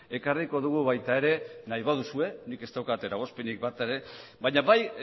ekarriko dugu baita ere nahi baduzue nik ez daukat eragozpenik baina bai